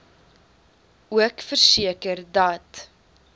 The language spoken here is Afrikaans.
ook verseker dat